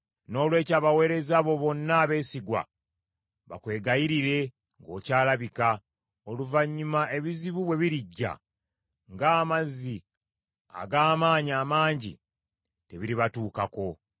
Noolwekyo abaweereza bo bonna abeesigwa bakwegayirire ng’okyalabika; oluvannyuma ebizibu bwe birijja, ng’amazzi ag’amaanyi amangi tebiribatuukako.